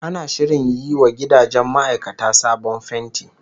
Ana shirin yi wa gidajen ma'aikata sabon fenti